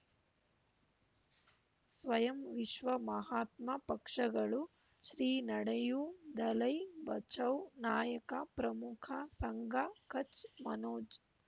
ಸ್ವಯಂ ವಿಶ್ವ ಮಹಾತ್ಮ ಪಕ್ಷಗಳು ಶ್ರೀ ನಡೆಯೂ ದಲೈ ಬಚೌ ನಾಯಕ ಪ್ರಮುಖ ಸಂಘ ಕಚ್ ಮನೋಜ್